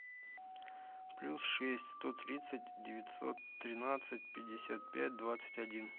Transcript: плюс шесть сто тридцать девятьсот тринадцать пятьдесят пять двадцать один